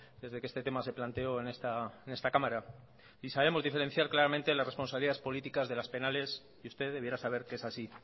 desde que este tema se planteo en esta cámara y sabemos diferenciar claramente las responsabilidades políticas de las penales y usted debiera saber que es así